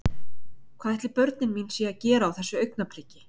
Hvað ætli börnin mín séu að gera á þessu augnabliki?